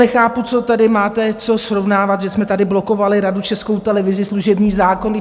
Nechápu, co tady máte co srovnávat, že jsme tady blokovali radu - Českou televizi, služební zákon.